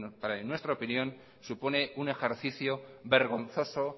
en nuestra opinión supone un ejercicio vergonzoso